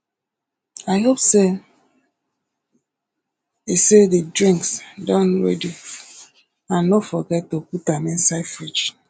i hope say the say the drinks don ready and no forget to put am inside fridge